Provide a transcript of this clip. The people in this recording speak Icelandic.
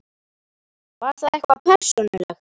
Var það eitthvað persónulegt?